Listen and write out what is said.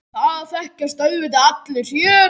Það þekkjast auðvitað allir hér.